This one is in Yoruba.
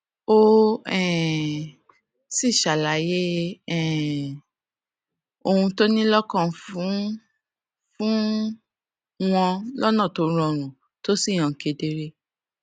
ó um sì ṣàlàyé um ohun tó ní lókàn fún fún wọn lónà tó rọrùn tó sì hàn kedere